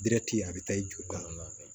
deti a be taa i joli da